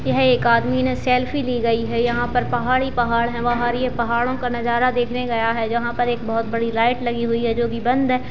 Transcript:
यह एक आदमी ने सेल्फ़ी ली गई है यहाँ पे पहाड़ ही पहाड़ हैं बाहर ये पहाड़ों का नजारा देखने गया है जहाँ पे बहुत बड़ी लाइट लगी हुई है जो की बंद है।